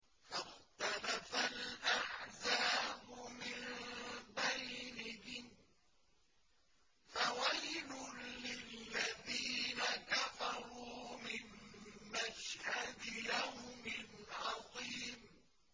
فَاخْتَلَفَ الْأَحْزَابُ مِن بَيْنِهِمْ ۖ فَوَيْلٌ لِّلَّذِينَ كَفَرُوا مِن مَّشْهَدِ يَوْمٍ عَظِيمٍ